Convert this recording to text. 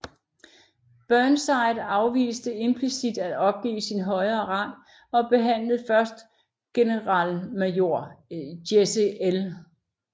Burnside afviste implicit at opgive sin højere rang og behandlede først generalmajor Jesse L